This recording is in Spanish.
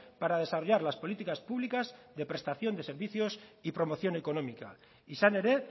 para desarrollar las políticas públicas de prestación de servicios y promoción económica izan ere